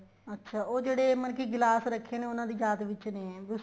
ਅੱਛਾ ਉਹ ਜਿਹੜੇ ਮਤਲਬ ਕੀ ਗਿਲਾਸ ਰੱਖ਼ੇ ਨੇ ਉਹਨਾ ਦੀ ਯਾਦ ਵਿੱਚ ਨੇ